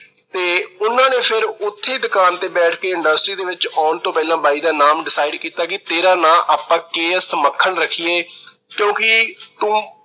ਤੇ ਉਹਨਾਂ ਨੇ ਫਿਰ ਉਥੇ ਦੁਕਾਨ ਤੇ ਬੈਠ ਕੇ industry ਵਿੱਚ ਆਉਣ ਤੋਂ ਪਹਿਲਾ ਬਾਈ ਦਾ ਨਾਮ decide ਕੀਤਾ ਕਿ ਤੇਰਾ ਨਾਂ ਆਪਾ ਕੇ. ਐਸ. ਮੱਖਣ ਰੱਖੀਏ ਕਿਉਂਕਿ ਤੂੰ